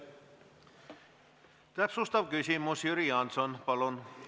Täpsustav küsimus, Jüri Jaanson, palun!